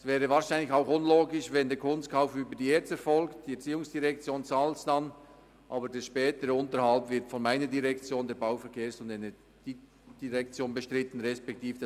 Es wäre wohl auch unlogisch, wenn der Kunstkauf über die ERZ erfolgte, welche ihn bezahlen würde, der spätere Unterhalt aber von meiner Direktion, der BVE, beziehungsweise vom AGG bestritten würde.